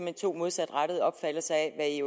er to modsatrettede opfattelser af